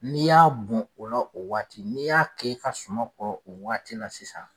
N'i y'a bɔn o la o waati n'i y'a kɛ i ka suman kɔrɔ o waati la sisan